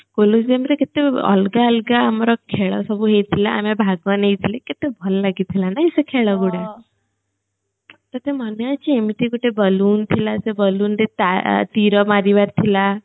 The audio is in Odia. କେତେ ଅଲଗା ଅଲଗା ଆମର ଖେଳ ସବୁ ହେଇଥିଲା ଆମେ ଭାଗ ନେଇଥିଲେ କେତେ ଭଲ ଲାଗିଥିଲା ନା ସେ ଖେଳ ଗୁଡା ତତେ ମନେ ଅଛି ଏମିତି ଗୋଟେ ଥିଲା ସେ ରେ ତୀର ମାରିବାର ଥିଲା